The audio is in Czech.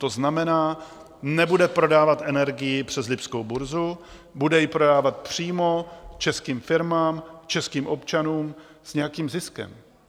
To znamená, nebude prodávat energii přes lipskou burzu, bude ji prodávat přímo českým firmám, českým občanům s nějakým ziskem.